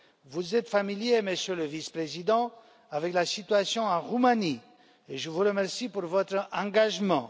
Vous êtes familier, Monsieur le Vice président, de la situation en Roumanie et je vous remercie pour votre engagement.